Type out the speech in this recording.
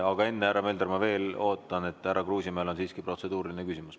Aga enne, härra Mölder, ma veel ootan, sest härra Kruusimäel on siiski protseduuriline küsimus.